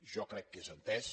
jo crec que és entès